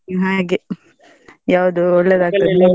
ಹಾಗೆ ಯಾವ್ದು ಒಳ್ಳೇದಾಗ್ತದೆ.